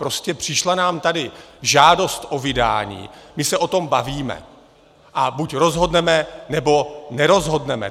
Prostě přišla nám tady žádost o vydání, my se o tom bavíme a buď rozhodneme, nebo nerozhodneme.